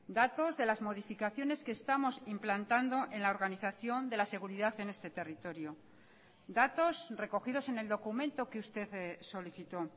datos de las modificaciones que estamos implantando en la organización de la seguridad en este territorio datos recogidos en el documento que usted solicitó